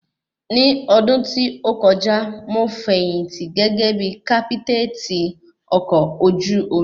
Ni odun tí ó kọjá, mo fẹ̀yìntì gẹ́gẹ́ bí kápítètì ọkọ̀ ojú omi